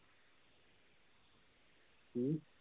ਹੂ